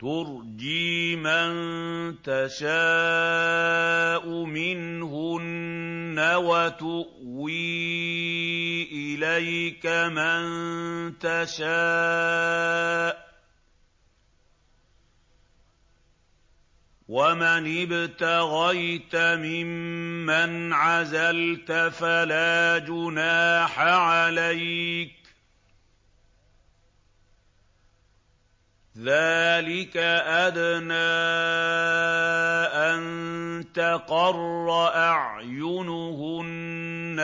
۞ تُرْجِي مَن تَشَاءُ مِنْهُنَّ وَتُؤْوِي إِلَيْكَ مَن تَشَاءُ ۖ وَمَنِ ابْتَغَيْتَ مِمَّنْ عَزَلْتَ فَلَا جُنَاحَ عَلَيْكَ ۚ ذَٰلِكَ أَدْنَىٰ أَن تَقَرَّ أَعْيُنُهُنَّ